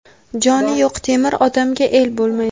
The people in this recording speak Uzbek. Joni yo‘q temir odamga el bo‘lmaydi.